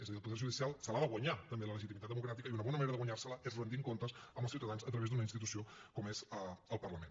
és a dir el poder judicial se l’ha de guanyar també la legitimitat democràtica i una bona manera de guanyar se la és retent comptes als ciutadans a través d’una institució com és el parlament